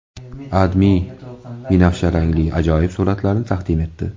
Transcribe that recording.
AdMe binafsharangli ajoyib suratlarni taqdim etdi .